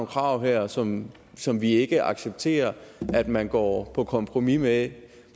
krav her som som vi ikke accepterer at man går på kompromis med